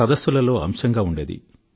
సదస్సులలో అంశంగా ఉండేది